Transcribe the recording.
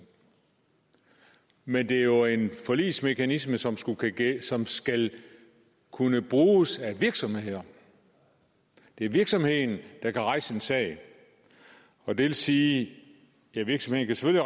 men det er jo en forligsmekanisme som som skal kunne bruges af virksomheder det er virksomheden der kan rejse en sag det vil sige at virksomheden